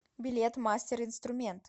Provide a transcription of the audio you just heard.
билет мастер инструмент